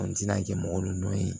An tɛna kɛ mɔgɔ dɔn ye